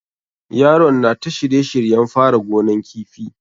Yaron na ta shirye shiryen fara gonan kifi.